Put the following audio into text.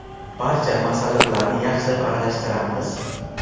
Barcha masalliqlarni yaxshilab aralashtiramiz.